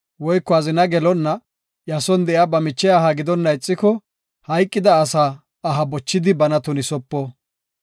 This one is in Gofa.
woyko azina gelonna, iya son de7iya ba miche aha gidonna ixiko, hayqida asa aha bochidi bana tunisopo.